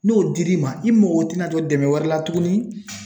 N'o dil'i ma, i mago tina jɔ dɛmɛ wɛrɛ la tuguni